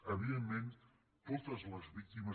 evidentment totes les víctimes